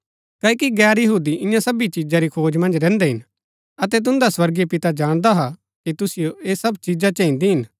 क्ओकि गैर यहूदी ईयां सबी चिजा री खोज मन्ज रैहन्दै हिन अतै तुन्दा स्वर्गीय पिता जाणदा हा कि तुसिओ ऐह सब चिजा चहिन्दी हिन